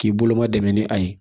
K'i bolo ma dɛmɛ ni a ye